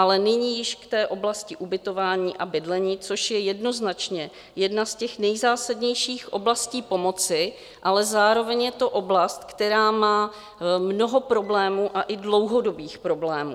Ale nyní již k té oblasti ubytování a bydlení, což je jednoznačně jedna z těch nejzásadnějších oblastí pomoci, ale zároveň je to oblast, která má mnoho problémů, a i dlouhodobých problémů.